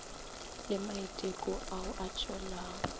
le maiteko ao a tšwelago